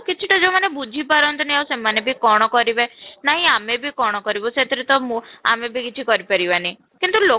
ଆଉ କିଛିଟା ଯଉମାନେ ବୁଝି ପାରନ୍ତି ନି ଆଉ ସେମାନେ ବି କଣ କରିବେ ନାଇଁ ଆମେ ବି କଣ କରିବୁ ସେଥିରେ ତ ମୁଁ ଆମେ ବି କିଛି କରି ପାରିବ ନି କିନ୍ତୁ